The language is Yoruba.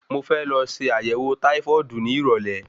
Mo fẹ́ lọ se àyẹ̀wọ̀ táífọ́ọ̀dù ní ìrọ̀lé.